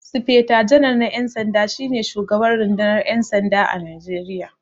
Sifeta janar na 'yan sanda, shi ne shugaban rundunar 'yan sanda a Najeriya.